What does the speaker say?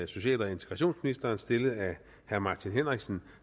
social og integrationsministeren stillet af herre martin henriksen